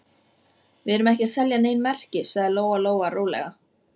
Við erum ekki að selja nein merki, sagði Lóa-Lóa rólega.